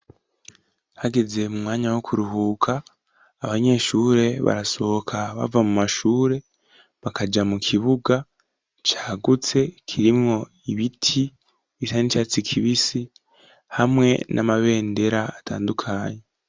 Hageze mu mwanya wo kuruhuka, abanyeshure barasohoka bava mu mashure, bakaja mu kibuga cagutse, kirimo ibiti bisa n'icatsi kibisi, hamwe n'amabendera atandukanye.